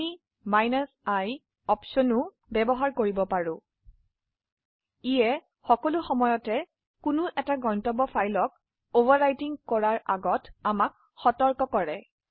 আমি i option ব্যবহাৰ কৰিব পাৰো এইটি সবসময় কোনো গন্তব্য ফাইল কে অভাৰৰাইটিং কৰাৰ আগে আমাক সতৰ্ক কৰে